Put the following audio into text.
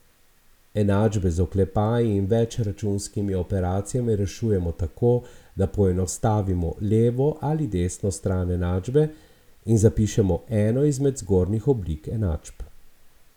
Enačbe z oklepaji in več računskimi operacijami rešujemo tako, da poenostavimo levo ali desno stran enačbe in zapišemo eno izmed zgornjih oblik enačb.